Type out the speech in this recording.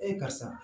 karisa